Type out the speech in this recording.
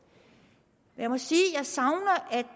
jeg må sige at